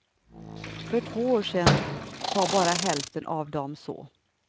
För två år sedan sa bara hälften av dem så.